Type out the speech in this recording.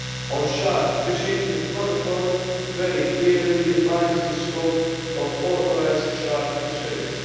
On shark fishing, the protocol very clearly defines the scope of authorised shark fisheries.